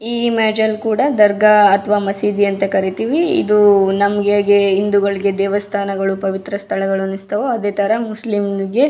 ಈ ಇಮೇಜ್ ಅಲ್ಲಿ ಕೂಡ ದರ್ಗಾ ಅಥವಾ ಮಸೀದಿ ಅಂತ ಕರೀತೀವಿ. ಇದು ನಮಗೆ ಹೇಗೆ ಹಿಂದೂಗಳಿಗೆ ದೇವಸ್ಥಾನ ಪವಿತ್ರ ಸ್ಥಳಗಳು ಅನ್ನಿಸ್ತವೋ ಅದೇ ತರ ಮುಸ್ಲಿಂ ಗೆ --